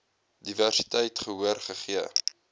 diversiteit gehoor gegee